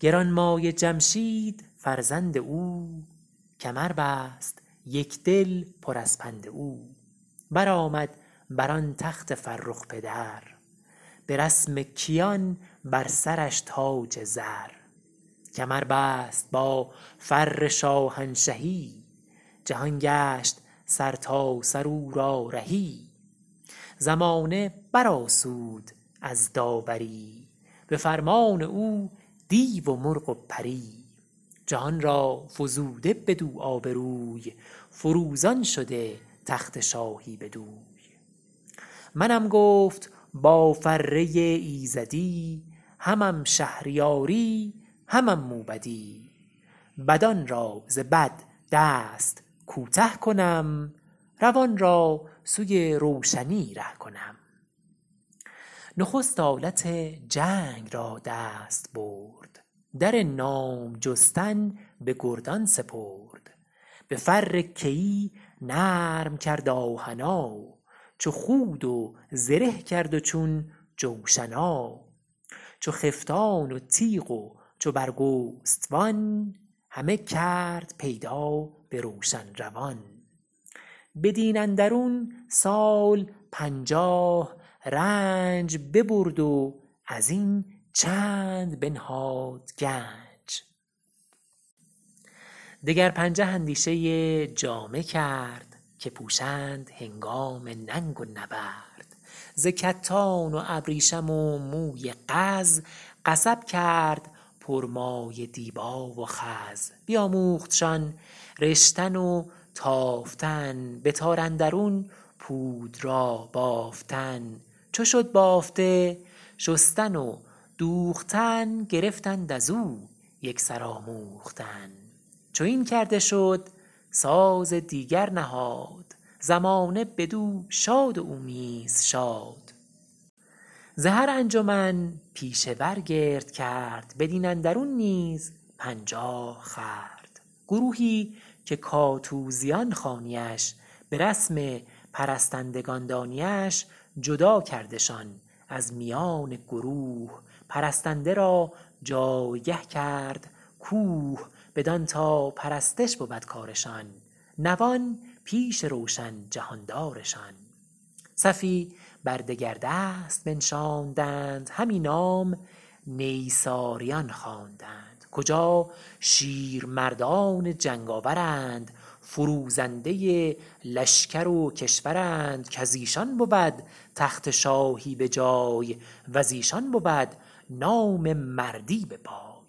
گرانمایه جمشید فرزند او کمر بست یک دل پر از پند او برآمد بر آن تخت فرخ پدر به رسم کیان بر سرش تاج زر کمر بست با فر شاهنشهی جهان گشت سرتاسر او را رهی زمانه بر آسود از داوری به فرمان او دیو و مرغ و پری جهان را فزوده بدو آبروی فروزان شده تخت شاهی بدوی منم گفت با فره ایزدی همم شهریاری همم موبدی بدان را ز بد دست کوته کنم روان را سوی روشنی ره کنم نخست آلت جنگ را دست برد در نام جستن به گردان سپرد به فر کیی نرم کرد آهنا چو خود و زره کرد و چون جوشنا چو خفتان و تیغ و چو برگستوان همه کرد پیدا به روشن روان بدین اندرون سال پنجاه رنج ببرد و از این چند بنهاد گنج دگر پنجه اندیشه جامه کرد که پوشند هنگام ننگ و نبرد ز کتان و ابریشم و موی قز قصب کرد پر مایه دیبا و خز بیاموختشان رشتن و تافتن به تار اندرون پود را بافتن چو شد بافته شستن و دوختن گرفتند از او یک سر آموختن چو این کرده شد ساز دیگر نهاد زمانه بدو شاد و او نیز شاد ز هر انجمن پیشه ور گرد کرد بدین اندرون نیز پنجاه خورد گروهی که کاتوزیان خوانی اش به رسم پرستندگان دانی اش جدا کردشان از میان گروه پرستنده را جایگه کرد کوه بدان تا پرستش بود کارشان نوان پیش روشن جهاندارشان صفی بر دگر دست بنشاندند همی نام نیساریان خواندند کجا شیر مردان جنگ آورند فروزنده لشکر و کشورند کز ایشان بود تخت شاهی به جای و ز ایشان بود نام مردی به پای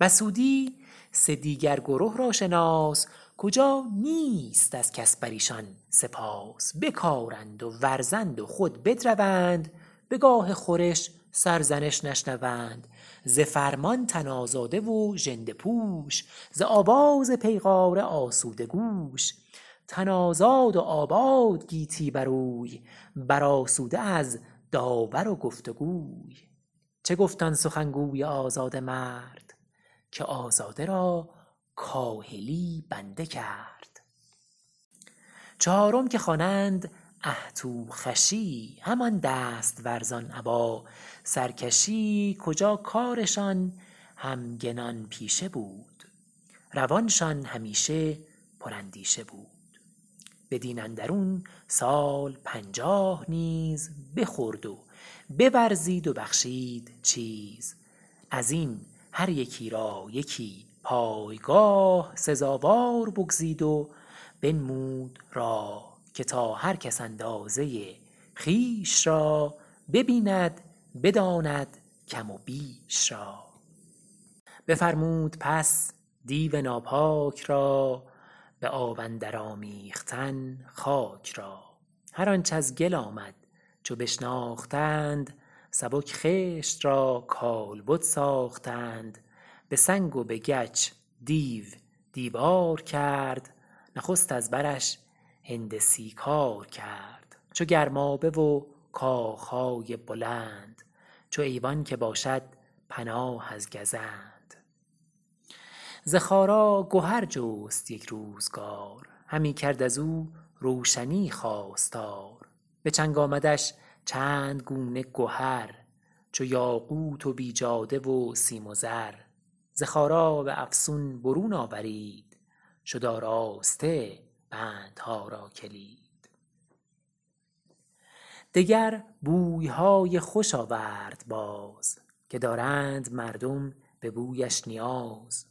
بسودی سه دیگر گره را شناس کجا نیست از کس بر ایشان سپاس بکارند و ورزند و خود بدروند به گاه خورش سرزنش نشنوند ز فرمان تن آزاده و ژنده پوش ز آواز پیغاره آسوده گوش تن آزاد و آباد گیتی بر اوی بر آسوده از داور و گفتگوی چه گفت آن سخن گوی آزاده مرد که آزاده را کاهلی بنده کرد چهارم که خوانند اهتوخوشی همان دست ورزان ابا سرکشی کجا کارشان همگنان پیشه بود روانشان همیشه پر اندیشه بود بدین اندرون سال پنجاه نیز بخورد و بورزید و بخشید چیز از این هر یکی را یکی پایگاه سزاوار بگزید و بنمود راه که تا هر کس اندازه خویش را ببیند بداند کم و بیش را بفرمود پس دیو ناپاک را به آب اندر آمیختن خاک را هر آنچ از گل آمد چو بشناختند سبک خشت را کالبد ساختند به سنگ و به گچ دیو دیوار کرد نخست از برش هندسی کار کرد چو گرمابه و کاخ های بلند چو ایوان که باشد پناه از گزند ز خارا گهر جست یک روزگار همی کرد از او روشنی خواستار به چنگ آمدش چند گونه گهر چو یاقوت و بیجاده و سیم و زر ز خارا به افسون برون آورید شد آراسته بندها را کلید دگر بوی های خوش آورد باز که دارند مردم به بویش نیاز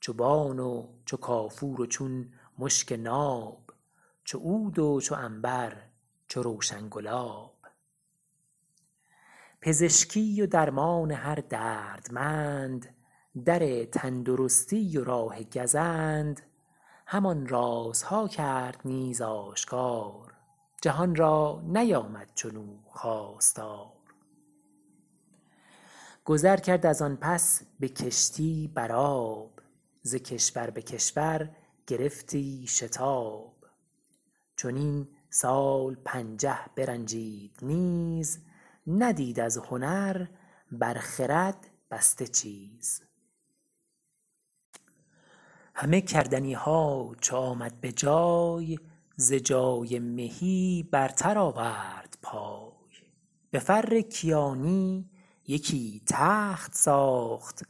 چو بان و چو کافور و چون مشک ناب چو عود و چو عنبر چو روشن گلاب پزشکی و درمان هر دردمند در تندرستی و راه گزند همان رازها کرد نیز آشکار جهان را نیامد چنو خواستار گذر کرد از آن پس به کشتی بر آب ز کشور به کشور گرفتی شتاب چنین سال پنجه برنجید نیز ندید از هنر بر خرد بسته چیز همه کردنی ها چو آمد به جای ز جای مهی برتر آورد پای به فر کیانی یکی تخت ساخت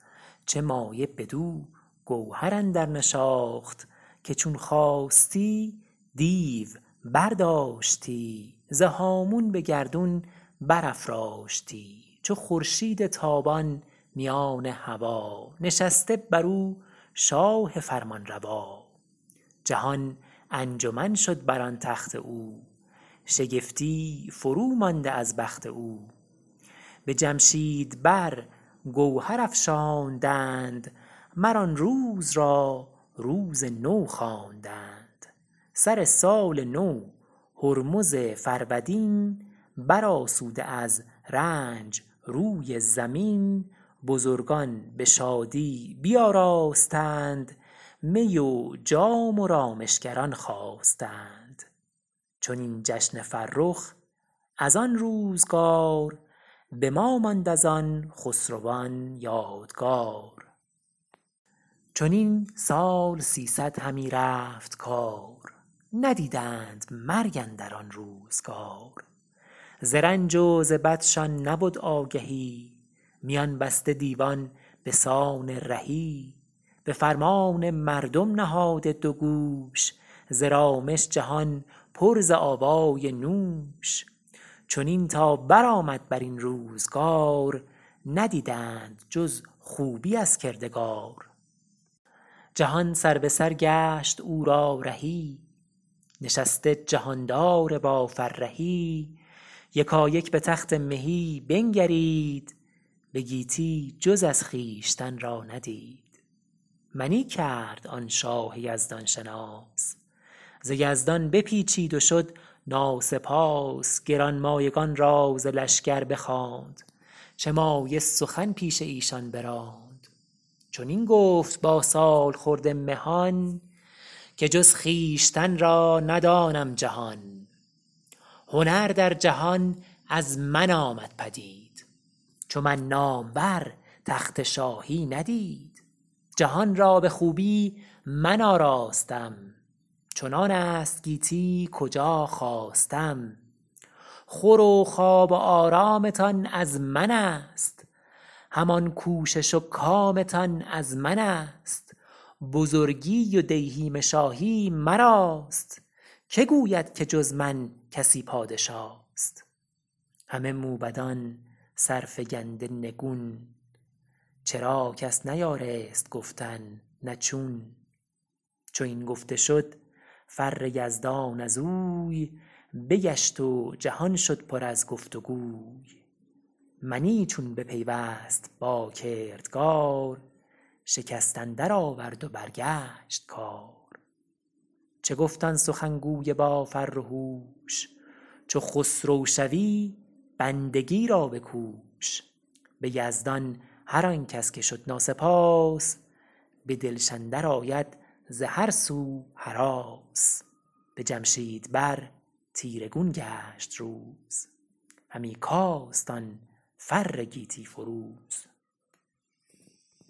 چه مایه بدو گوهر اندر نشاخت که چون خواستی دیو برداشتی ز هامون به گردون برافراشتی چو خورشید تابان میان هوا نشسته بر او شاه فرمانروا جهان انجمن شد بر آن تخت او شگفتی فرومانده از بخت او به جمشید بر گوهر افشاندند مر آن روز را روز نو خواندند سر سال نو هرمز فرودین بر آسوده از رنج روی زمین بزرگان به شادی بیاراستند می و جام و رامشگران خواستند چنین جشن فرخ از آن روزگار به ما ماند از آن خسروان یادگار چنین سال سیصد همی رفت کار ندیدند مرگ اندر آن روزگار ز رنج و ز بدشان نبد آگهی میان بسته دیوان به سان رهی به فرمان مردم نهاده دو گوش ز رامش جهان پر ز آوای نوش چنین تا بر آمد بر این روزگار ندیدند جز خوبی از کردگار جهان سربه سر گشت او را رهی نشسته جهاندار با فرهی یکایک به تخت مهی بنگرید به گیتی جز از خویشتن را ندید منی کرد آن شاه یزدان شناس ز یزدان بپیچید و شد ناسپاس گرانمایگان را ز لشگر بخواند چه مایه سخن پیش ایشان براند چنین گفت با سالخورده مهان که جز خویشتن را ندانم جهان هنر در جهان از من آمد پدید چو من نامور تخت شاهی ندید جهان را به خوبی من آراستم چنان است گیتی کجا خواستم خور و خواب و آرامتان از من است همان کوشش و کامتان از من است بزرگی و دیهیم شاهی مراست که گوید که جز من کسی پادشاست همه موبدان سرفگنده نگون چرا کس نیارست گفتن نه چون چو این گفته شد فر یزدان از اوی بگشت و جهان شد پر از گفت وگوی منی چون بپیوست با کردگار شکست اندر آورد و برگشت کار چه گفت آن سخن گوی با فر و هوش چو خسرو شوی بندگی را بکوش به یزدان هر آن کس که شد ناسپاس به دلش اندر آید ز هر سو هراس به جمشید بر تیره گون گشت روز همی کاست آن فر گیتی فروز